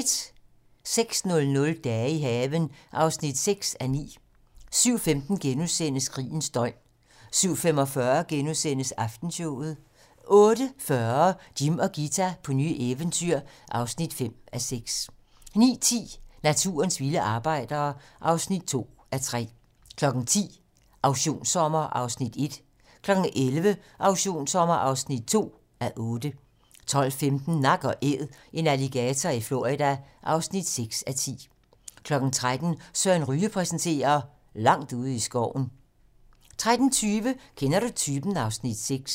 06:00: Dage i haven (6:9) 07:15: Krigens døgn * 07:45: Aftenshowet * 08:40: Jim og Ghita på nye eventyr (5:6) 09:10: Naturens vilde arbejdere (2:3) 10:00: Auktionssommer (1:8) 11:00: Auktionssommer (2:8) 12:15: Nak & Æd - en alligator i Florida (6:10) 13:00: Søren Ryge præsenterer - langt ude i skoven 13:30: Kender du typen? (Afs. 6)